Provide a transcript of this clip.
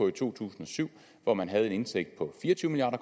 i to tusind og syv hvor man havde en indtægt på fire og tyve milliard